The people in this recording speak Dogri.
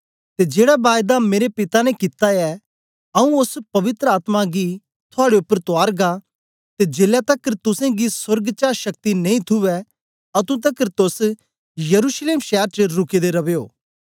ते जेड़ा बायदा मेरे पिता ने कित्ता ऐ आऊँ ओस पवित्र आत्मा गी थुआड़े उपर तुआरगा ते जेलै तकर तुसेंगी सोर्ग चा शक्ति नेई थूवै अतुं तकर तोस यरूशलेम शैर च रुके दे रवयो